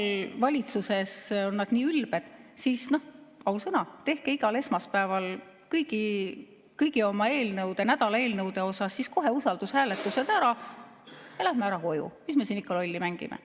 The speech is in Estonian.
Kui valitsuses ollakse nii ülbed, siis ausõna, tehke igal esmaspäeval kõigi oma nädala eelnõude kohta kohe usaldushääletused ära ja lähme ära koju, mis me siin ikka lolli mängime.